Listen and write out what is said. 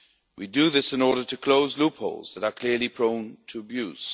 We are doing this in order to close loopholes that are clearly prone to abuse.